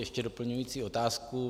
Ještě doplňující otázku.